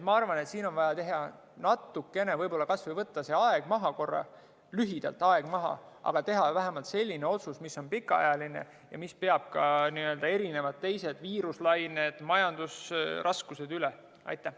Ma arvan, et siin on vaja kas või korraks aeg maha võtta, aga teha vähemalt selline otsus, mis on pikaajaline ja mis peab ka erinevad teised viiruslained ja majandusraskused vastu.